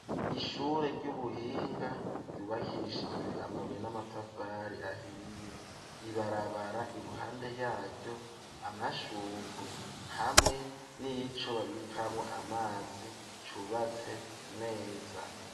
Ishure ry'ubuhinga, ryubakishijwe amabuye n'amatafari ahiye, ibarabara iruhande yaryo, amashugwe ,hamwe n'ico babikamwo amazi,, cubatse neza.